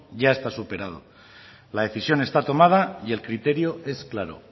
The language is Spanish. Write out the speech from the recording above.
ya está superado la decisión está tomada y el criterio es claro